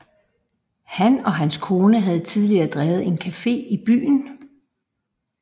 Han og hans kone havde tidligere drevet en café i byen